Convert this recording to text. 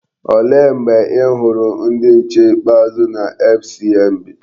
Olee mgbe i hụrụ ndị nche ikpeazụ na FCMB?